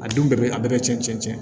A denw bɛɛ bɛ a bɛɛ cɛn cɛn